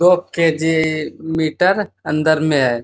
दो KG. Metre अंदर में है।